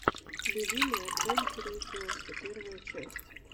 любимые адвенчуры и квесты первая часть